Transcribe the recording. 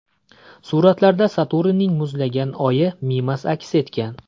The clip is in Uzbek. Suratlarda Saturnning muzlagan oyi Mimas aks etgan.